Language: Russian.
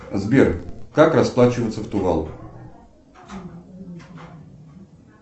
сбер как расплачиваться в тувал